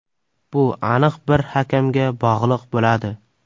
Bu aniq bir hakamga bog‘liq bo‘ladi.